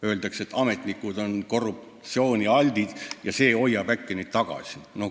Öeldakse, et ametnikud on korruptsioonialtid ja see hoiab neid äkki tagasi.